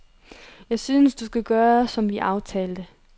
Jeg synes, at du skal gøre som vi aftalte.